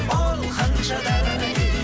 оу ханшадай